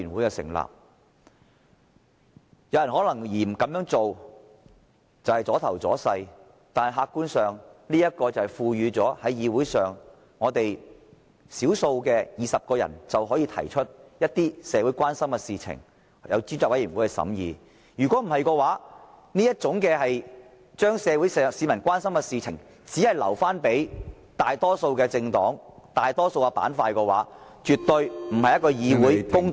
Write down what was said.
有人可能認為這樣做是"阻頭阻勢"，但客觀上，這才是賦予議會內少數派權力，只要20人提出，便可把某些社會關心的事情交由專責委員會審議，否則，當這些事情只能留給屬大多數的政黨和大多數的板塊處理時，這絕非公道的議會行為。